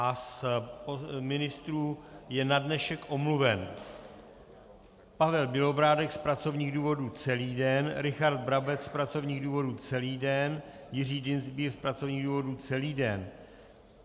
A z ministrů je na dnešek omluven Pavel Bělobrádek z pracovních důvodů celý den, Richard Brabec z pracovních důvodů celý den, Jiří Dienstbier z pracovních důvodů celý den.